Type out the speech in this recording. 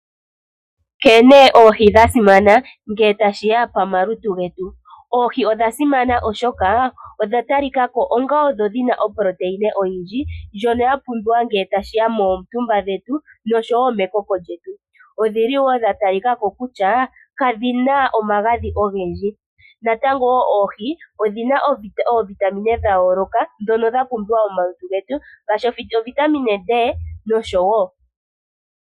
Nkene oohi dha simana ngele tashi ya komalutu getu. Oohi odha simana oshoka odhi na oproteina oyindji ndjono ya pumbiwa ngele tashi ya koontumba dhetu noshowo mekoko lyetu. Odha tali ka ko kutya kadhi na omagadhi ogendji. Oohi odhi na oovitamine dha yooloka ndhono dha pumbiwa momalutu getu ngaashi ovitamine D nosho tuu.